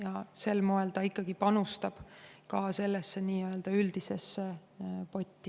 Aga sel moel suurtarbija ikkagi panustab ka sellesse nii-öelda üldisesse potti.